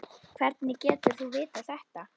Hvernig getur þú vitað þetta?